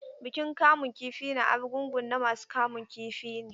Bikin kamun kifi na Arugungu na masu kamun kifi ne.